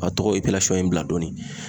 A tɔgɔ in bila dɔɔni.